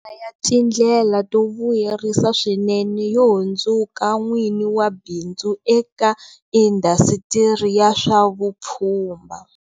Man'wana ya tindlela to vuyerisa swinene yo hundzuka n'wini wa bi ndzu eka indhasitiri ya swa vupfhumba.